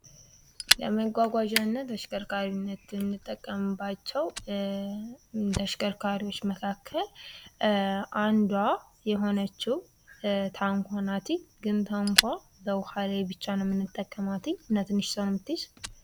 ለመጓጓዣና ተሽከርካሪነት የምንጠቀምባቸው ተሽከርካሪዎች መካከል አንዷ የሆነችው ታንኳ ናት እይ ግን ታንኳ በውሃ ላይ ብቻ ነው የምንጠቀማትይ እና ትንሽ ሰው የምትይዝ